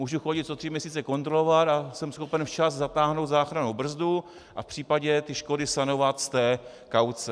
Můžu chodit to tři měsíce kontrolovat a jsem schopen včas zatáhnout záchrannou brzdu a v případě ty škody sanovat z té kauce.